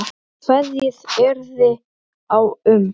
Kveðið yrði á um